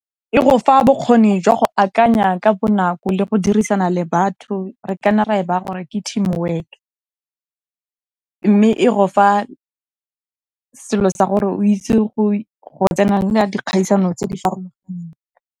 E go fa bokgoni jwa go akanya ka bonako le go dirisana le batho, re kana ra e baaya gore ke team work. Mme e go fa selo sa gore o itse go tsenela dikgaisano tse di faroganeng.